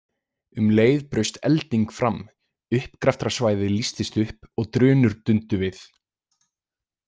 Um leið braust elding fram, uppgraftrarsvæðið lýstist upp og drunur dundu við.